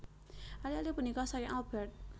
Ali ali punika saking Albert